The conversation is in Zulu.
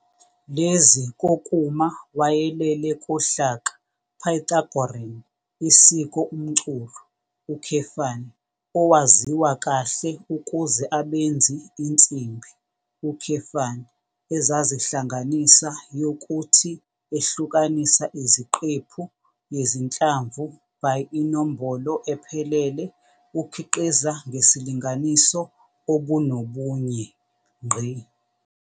Lezi kokuma wayelele kohlaka Pythagorean isiko umculo, owaziwa kahle ukuze abenzi insimbi, ezazihlanganisa yokuthi ehlukanisa iziqephu yezinhlamvu by inombolo ephelele ukhiqiza ngesilinganiso obunobunye.